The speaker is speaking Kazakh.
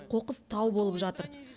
қоқыс тау болып жатыр